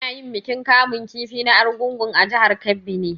Ana yin bikin kamun kifi na argungua jihar Kebbi ne